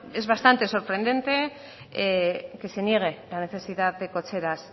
es bastante sorprendente que se niegue la necesidad de cocheras